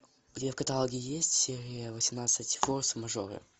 у тебя в каталоге есть серия восемнадцать форс мажоры